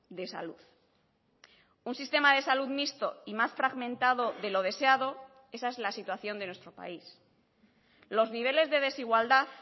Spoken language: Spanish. de salud un sistema de salud mixto y más fragmentado de lo deseado esa es la situación de nuestro país los niveles de desigualdad